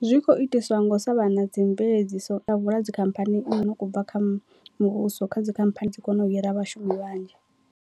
Zwi kho itisiwa ngo sa vha na dzi mveledziso dzikhamphani ine u khou bva kha muvhuso kha dzikhamphani dzi kone u hira vhashumi vhanzhi.